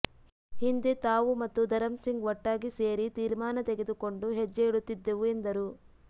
ಹಿಂದೆ ತಾವು ಮತ್ತು ಧರಂಸಿಂಗ್ ಒಟ್ಟಾಗಿ ಸೇರಿ ತೀರ್ಮಾನ ತೆಗೆದುಕೊಂಡು ಹೆಜ್ಜೆ ಇಡುತ್ತಿದ್ದೆವು ಎಂದರು